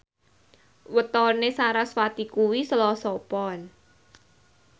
wetone sarasvati kuwi Selasa Pon